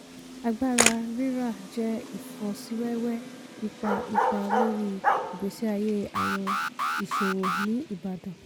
agbára rírà jẹ́ ifọsíwẹ́wẹ́ ipá ipá lórí ìgbésí ayé àwọn iṣòwò ní ìbàdàn.